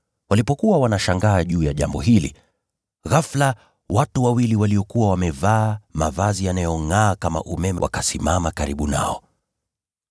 Walipokuwa wanashangaa juu ya jambo hili, ghafula watu wawili waliokuwa wamevaa mavazi yanayongʼaa kama umeme wakasimama karibu nao.